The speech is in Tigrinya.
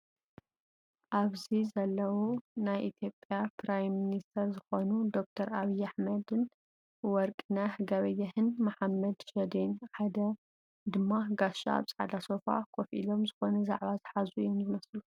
ኣብዚ ዘለው ናይ ኢትዮጰያ ፕራይም ሚንሰተር ዝኮኑ ዶ/ር ኣብይ ኣሕመድን ወርግነህ ገበየህን መሓመድ ሽዴን ሓደ ድማ ጋሻ ኣብ ፃዕዳ ሶፋ ኮፍ ኢሎም ዝኮነ ዛዕባ ዝሓዙ እዮም ዘለው።